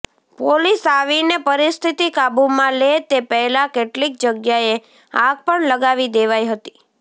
police આવીને પરિસ્થિતિ કાબૂમાં લે તે પહેલા કેટલીક જગ્યાએ આગ પણ લગાવી દેવાઈ હતી